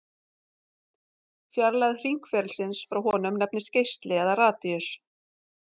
Fjarlægð hringferilsins frá honum nefnist geisli eða radíus.